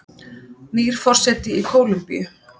Nýr forseti í Kólumbíu